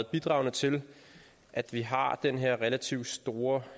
bidraget til at vi har den her relativt store